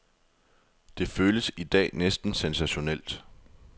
Det føles i dag næsten sensationelt.